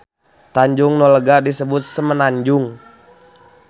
Tanjung nu lega disebut semenanjung.